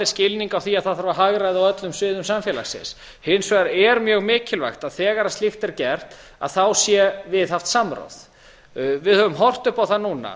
skilning á því að það þarf að hagræða á öllum sviðum samfélagsins hins vegar er mjög mikilvægt að þegar slíkt er gert sé viðhaft samráð við höfum horft upp á það núna